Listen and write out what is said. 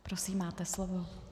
Prosím, máte slovo.